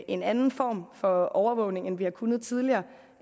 en anden form for overvågning af vi har kunnet tidligere